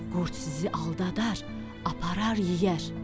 Qurd sizi aldadar, aparar yeyər.